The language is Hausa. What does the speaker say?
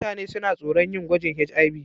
Mutane suna tsoron yin gwajin HIV.